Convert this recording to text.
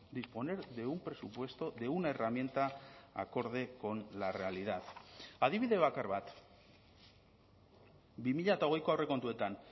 disponer de un presupuesto de una herramienta acorde con la realidad adibide bakar bat bi mila hogeiko aurrekontuetan